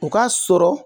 O ka sɔrɔ